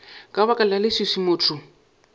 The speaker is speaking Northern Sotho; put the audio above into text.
ka baka la leswiswi motho